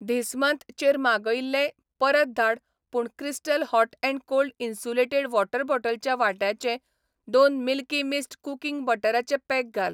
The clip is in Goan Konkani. धिस मन्थ चेर मागयिल्लें परत धाड पूण crystal hot and cold insulated water बॉटलच्या वाट्याचे दोन मिल्की मिस्ट कुकिंग बटराचे पॅक घाल.